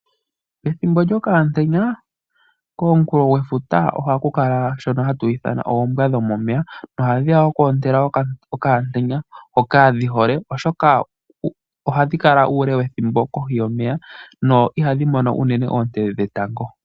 Pethimbo lyokaamutenya, komunkulofuta ohaku kala shono hatu shi ithana oombwa dhomomeya, nohadhi ya oku ontela okamutenya hoka dhi hole, oshoka ohadhi kala uule wethimbo kohi yomeya, dho ihashi mono unene oonte dhetango.